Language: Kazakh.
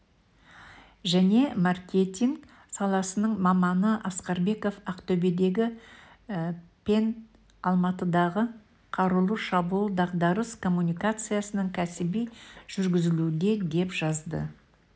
және марктеинг саласының маманы асқарбеков ақтөбедегі пен алматыдағы қарулы шабуыл дағдарыс коммуникациясының кәсіби жүргізуліде деп жазды